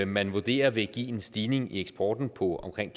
man vurderer vil give en stigning i eksporten på omkring